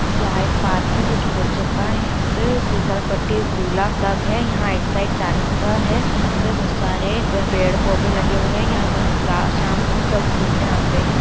यहाँ एक पार्क है जो कि बच्चों का है यहाँ पे फिसल पट्टी झूला सब है यहाँ एक साइड जाली का है यहाँ पे बहोत सारे पेड़-पौधे लगे हुए हैं यहां ला शाम को सब घूमने आते हैं।